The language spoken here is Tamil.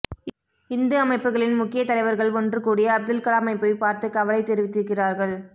இந்து அமைப்புகளின் முக்கிய தலைவர்கள் ஒன்றுகூடி அப்துல்கலாமை போய் பார்த்துக் கவலை தெரிவித்திருக்கிறார்கள்